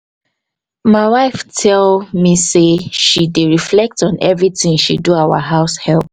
my wife tell me say she dey reflect on everytin she do our househep